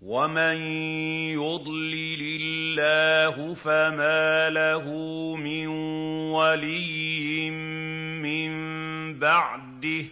وَمَن يُضْلِلِ اللَّهُ فَمَا لَهُ مِن وَلِيٍّ مِّن بَعْدِهِ ۗ